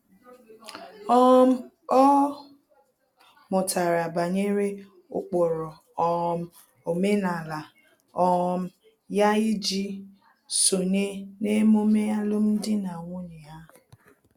um Ọ mụtara banyere ụkpụrụ um omenala um ya iji sonye n'emume alụmdi na nwunye ha